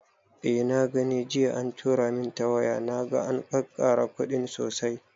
Eh na gani jiya an tura min ta waya, naga an kakkara kuɗin sosai